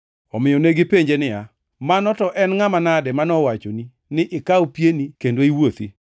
Omiyo negipenje niya, “Mano to en ngʼama nade manowachoni ni ikaw pieni kendo iwuothi?”